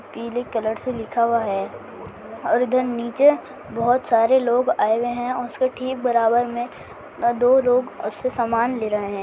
पीले कलर से लिखा हुआ है और ईधर नीचे बहुत सारे लोग आए हुए है और उसके ठीक बराबर में दो लोग सामान ले रहे हैं।